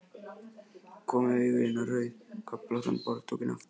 Kom með augun niður á rauðköflóttan borðdúkinn aftur.